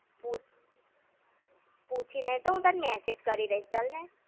પૂછી ને તો હું તને message કરી દઈશ ચાલને!